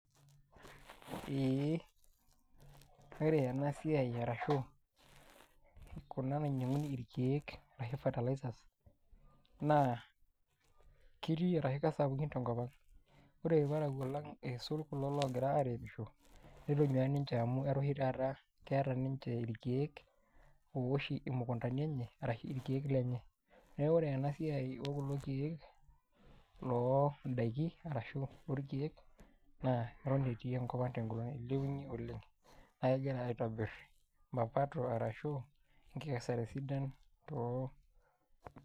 ee ore ena siai arashu kuna nainyiang'uni irkeek arashu fertilizers naa kirii ashu kesapukin tenkop ang. ore irparakuo lang nisulaki kulo loogira airemisho. netonyuaa ninche amu etaa oshi taata keeta ninche ilkeek ooosh imukuntani enye. arashu irkeek lenye. neku ore ena siai oo kulo keek loodaikin. arashu orkeek, naa eton etii enkop ang teguton eilepunye oleng. naa kegira aitobir mapato ashu enkikesare sidan to.